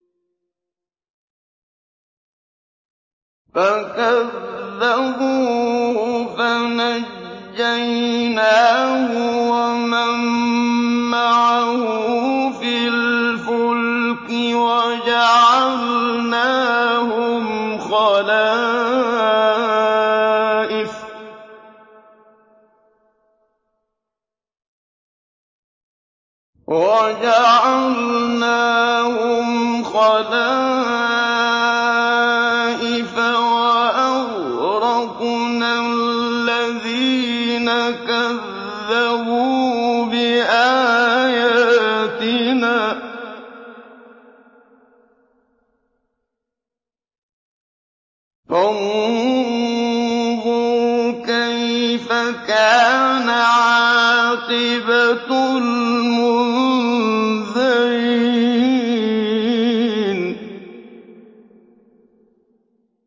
فَكَذَّبُوهُ فَنَجَّيْنَاهُ وَمَن مَّعَهُ فِي الْفُلْكِ وَجَعَلْنَاهُمْ خَلَائِفَ وَأَغْرَقْنَا الَّذِينَ كَذَّبُوا بِآيَاتِنَا ۖ فَانظُرْ كَيْفَ كَانَ عَاقِبَةُ الْمُنذَرِينَ